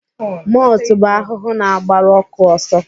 Motu bụ ahụhụ na-agbaru ọkụ ọsọ